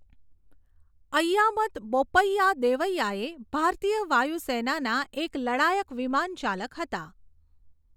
ઐયામદ બોપ્પૈયા દેવૈઆ એ ભારતીય વાયુસેનાના એક લડાયક વિમાનચાલક હતા.